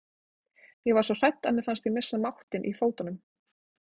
Ég var svo hrædd að mér fannst ég missa máttinn í fótunum.